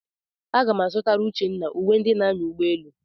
Aga m a zụtara Uchenna uwe ndị na-anya ụgbọelu.